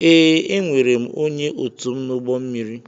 Ee, enwere m onye otum n'ụgbọ mmiri